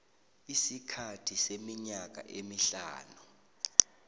isikhathi seminyaka emihlanu